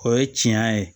O ye tiɲɛ ye